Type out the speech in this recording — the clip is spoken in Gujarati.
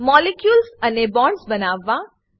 મોલિક્યુલ્સ અને બોન્ડ્સ બનાવવા